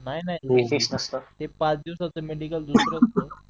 नाही नाही ते पाच दिवसाचं मेडिकल दुसरं असत